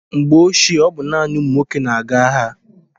Mgbe ochie, ọ bụ naanị ụmụ nwoke na-aga agha.